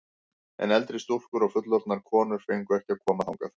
En eldri stúlkur og fullorðnar konur fengu ekki að koma þangað.